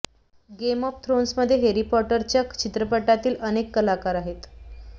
game of थ्रोन्समध्ये Harry पॉटरच्या चित्रपटांतील अनेक कलाकार आहेत